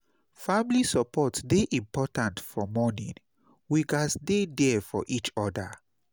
Family support dey important for mourning; we gats dey there for each oda.